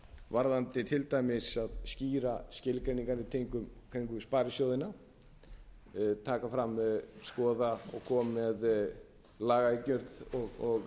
varðandi til dæmis að skýra skilgreiningar í kringum sparisjóðina taka fram skoða og koma með lagaumgjörð og